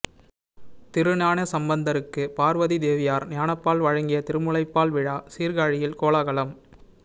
திருஞானசம்பந்தருக்கு பார்வதி தேவியார் ஞானப்பால் வழங்கிய திருமுலைப்பால் விழா சீர்காழியில் கோலாகலம்